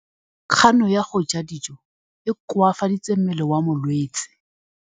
Kganô ya go ja dijo e koafaditse mmele wa molwetse.